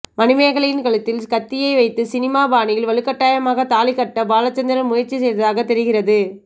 மணிமேகலையின் கழுத்தில் கத்தியை வைத்து சினிமா பாணியில் வலுக்கட்டாயமாக தாலி கட்ட பாலச்சந்திரன் முயற்சி செய்ததாக தெரிகிறது